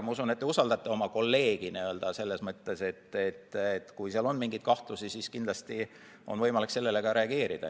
Ma usun, et te usaldate oma kolleegi selles mõttes, et kui on mingeid kahtlusi, siis kindlasti on võimalik sellele reageerida.